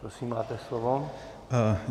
Prosím, máte slovo.